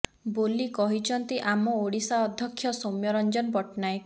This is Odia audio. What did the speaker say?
ବୋଲି କହିଛନ୍ତି ଆମ ଓଡିଶା ଅଧ୍ୟକ୍ଷ ସୌମ୍ୟ ରଂଜନ ପଟ୍ଟନାୟକ